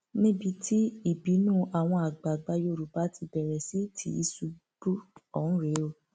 níbi tí ìbínú àwọn àgbààgbà yorùbá ti bẹrẹ sí tìṣubú ọhún rèé